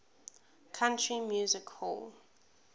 country music hall